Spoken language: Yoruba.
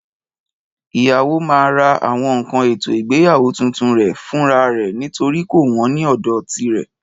Ìyàwó máa ra àwọn nkan ètò ìgbéyàwó tuntun re fúnra rẹ̀ nítorí kò wón ní òdò tirè